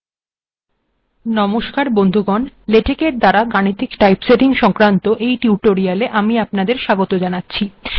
নমস্কার বন্ধুগণ লেটেক দ্বারা গাণিতিক টাইপসেটিং সংক্রান্ত এই টিউটোরিয়ালে আমি আপনাদের স্বাগত জানাচ্ছি